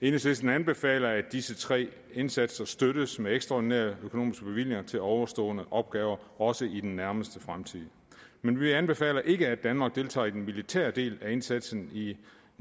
enhedslisten anbefaler at disse tre indsatser støttes med ekstraordinære økonomiske bevillinger til ovenstående opgaver også i den nærmeste fremtid men vi anbefaler ikke at danmark deltager i den militære del af indsatsen i